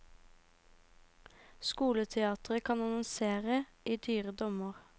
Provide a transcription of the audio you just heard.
Skoleetaten kan annonsere i dyre dommer.